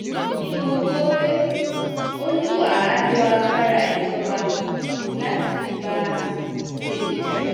ó ní mo gbọ́ pé ó ní wà á lo agbára ìjọba láti fi bá tèmi jà